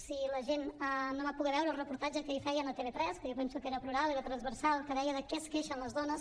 si la gent no va poder veure el reportatge que ahir feien a tv3 que jo penso que era plural era transversal que deia de què es queixen les dones